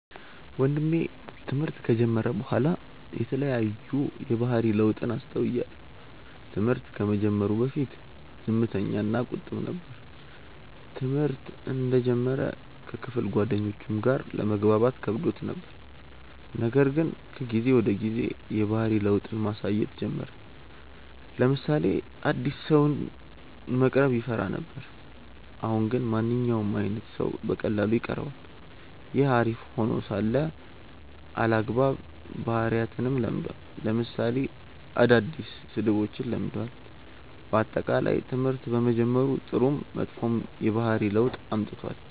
ወንድሜ ትምህርት ከጀመረ በኋላ የተለያዩ የባህሪ ለውጥን አስተውያለው። ትምህርት ከመጀመሩ በፊት ዝምተኛ እና ቁጥብ ነበር። ትምህርተ እንደጀመረ ከክፍል ጓደኞቹም ጋር ለመግባባት ከብዶት ነበር :ነገር ግን ከጊዜ ወደ ጊዜ የባህሪ ለውጥን ማሳየት ጀመረ : ለምሳሌ አዲስ ሰውን መቅረብ ይፈራ ነበር አሁን ግን ማንኛውም አይነት ሰው በቀላሉ ይቀርባል። ይህ አሪፍ ሄኖ ሳለ አልአግባብ ባህሪያትንም ለምዷል ለምሳሌ አዳዲስ ስድቦችን ለምዷል። በአጠቃላይ ትምህርት በመጀመሩ ጥሩም መጥፎም የባህሪ ለውጥ አምጥቷል።